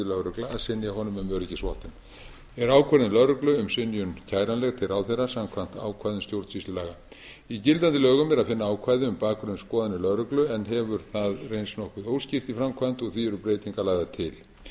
lögregla að synja honum um öryggisvottun eru ákvörðun lögreglu um synjun kæranleg til ráðherra samkvæmt ákvæðum stjórnsýslulaga í gildandi lögum er að finna ákvæði um bakgrunnsskoðanir lögreglu en hefur það reynst nokkuð óskýrt í framkvæmd og því eru breytingar lagðar til